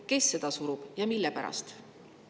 Kes seda surub ja mille pärast?